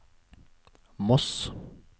Moss